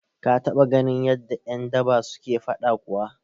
Ka taɓa ganin yadda ƴan daba suke faɗa kuwa?